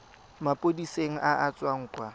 maphodiseng a a tswang kwa